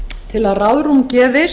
til að ráðrúm gefist